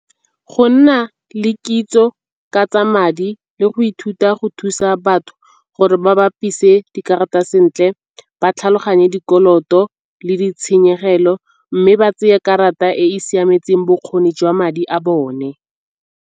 Go nna le kitso ka tsa madi le go ithuta go thusa batho gore ba bapise dikarata sentle, ba tlhaloganye dikoloto le ditshenyegelo mme ba tseye karata e e siametseng bokgoni jwa madi a bone.